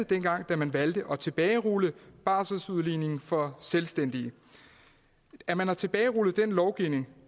dengang man valgte at tilbagerulle barselsudligningen for selvstændige at man har tilbagerullet den lovgivning